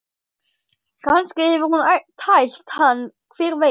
Kannski hefur hún tælt hann, hver veit?